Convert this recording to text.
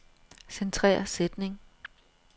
Centrer sætning.